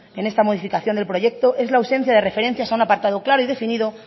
en esta modificación del proyecto es la ausencia de referencias a un apartado claro y definido